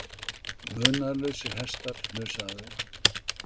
Munaðarlausir hestar hnusa af þeim